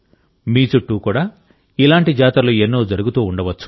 మీ చుట్టూ కూడా ఇలాంటి జాతరలు ఎన్నో జరుగుతూ ఉండవచ్చు